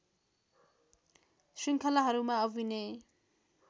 श्रृङ्खलाहरूमा अभिनय